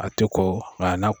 A te ko nga a na